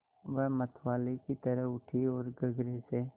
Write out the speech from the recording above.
वह मतवाले की तरह उठी ओर गगरे से